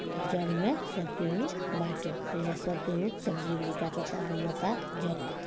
इ जग मैं सबके हु बाटे ईजा सब केहू सब्जी उब्जी कटा ता बनता जग होता।